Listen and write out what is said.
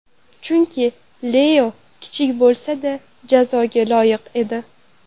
Chunki Leo kichik bo‘lsa-da jazoga loyiq edi.